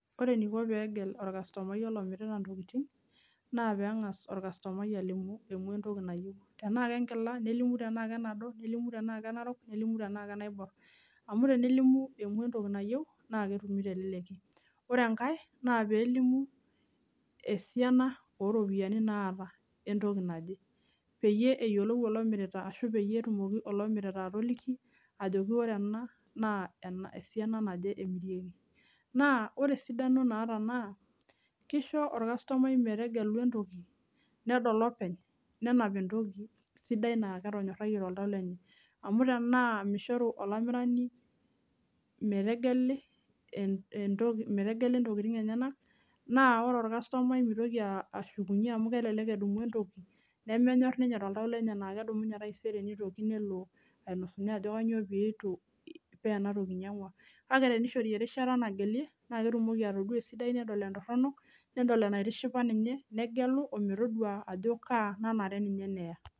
Ore enaiko peegel orkastomai olamirita intoking' naa peeng's orkastomai alimu entoki nayieu tenaa kenkila nelimu tenaa kebado nilimu tenaa enarok nelimu tenaa kenaibor amu tenelimu entoki nayieu naa ketumi telekeki ore enkae naa peelimu esiana oo ropiyiani naata entoki naje peyiee eyioolou olomirita arashu peyiee etumoki olomirita atoliki ajoki oree enaa naa esiana naje emirieki naa ore esidano naata naa keisho orkastomai metegelu entoki nedol openy nenap entoki sidai naa ketonyorrayie toltau lenye amu tenaa meishoru olamirani metegeli intokiting' enyenak naa ore orkastomai naa meitoki ashukunye amuu kelelek edumu entoki nemenyorr inyee toltau lenye naa kedumunye taisere neitoki nelo ainosunye ajo kanyioo piitu pee ena toki einyang'ua kaa teneishori erishata nagelia naa ketumoki atoduaa esidai nedol entorronok nedol enaitishipa ninye negelu ometodua ajoo kaa nanare ninye neya.